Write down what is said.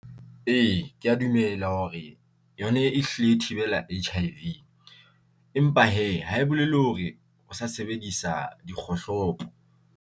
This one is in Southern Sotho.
Ee, ke ya dumela hore yona e hlile e thibela H_I_V empa hee hae bolele hore o sa sebedisa dikgohlopo.